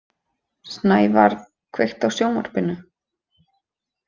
Snævar, kveiktu á sjónvarpinu.